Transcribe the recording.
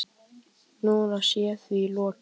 Núna sé því lokið